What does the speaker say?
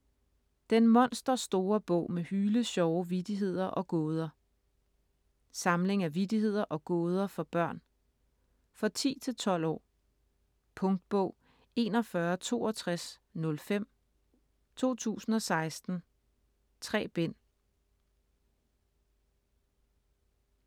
Den monsterstore bog med hylesjove vittigheder og gåder Samling af vittigheder og gåder for børn. For 10-12 år. Punktbog 416205 2016. 3 bind.